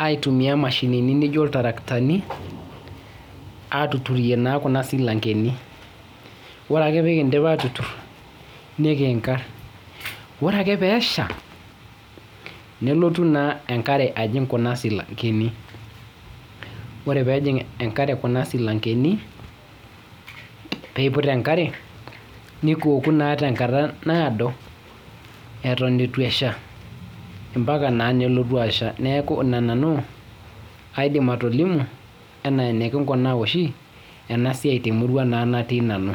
aitumia mashinini nijo iltarakitani atuturie naa kuna silankeni , ore ake peekindip atutur nikinkar , ore ake peesha nelotu naa enkare ajing kuna silankeni, ore peejing enkare kuna silankeni piput enkare nikioku naa tenkata naado eton itu esha ampaka naa nelotu asha , neeku ina nanu aidim atolimu enaa enikikunaa oshi temurua oshi natii nanu.